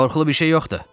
"Qorxulu bir şey yoxdur,"